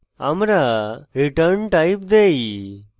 আমরা return _ type then